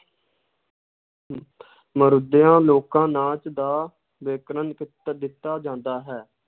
ਲੋਕਾਂ ਨਾਚ ਦਾ ਵਿਕਰਨ ਕੀ~ ਦਿੱਤਾ ਜਾਂਦਾ ਹੈ।